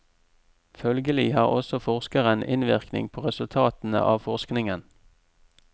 Følgelig har også forskeren innvirkning på resultatene av forskningen.